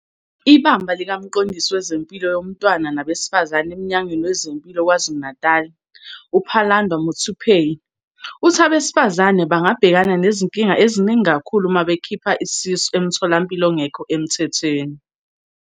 IBamba likaMqondisi Wezempilo Yomntwana Nabesifazane eMnyangweni Wezempilo KwaZulu-Natali, uPhalanndwa Muthuphei, uthi abesifazane bangabhekana nezinkinga eziningi uma bekhipha isisu emtholampilo ongekho emthethweni.